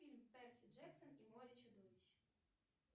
фильм перси джексон и море чудовищ